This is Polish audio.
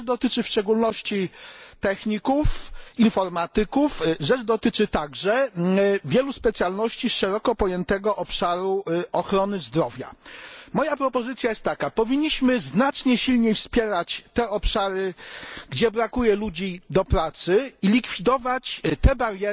Rzecz dotyczy w szczególności techników, informatyków, a także wielu specjalności z szeroko pojętego obszaru ochrony zdrowia. Moja propozycja jest taka powinniśmy znacznie silniej wspierać te obszary, gdzie brakuje ludzi do pracy, i likwidować istniejące bariery.